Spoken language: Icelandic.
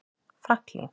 Franklín